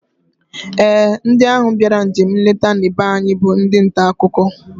Ee, ndị ahụ bịara njem nleta na be anyị bụ ndị ntaakụkọ